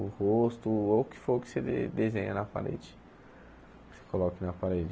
O rosto, ou o que for que você desenha na parede, que você coloque na parede.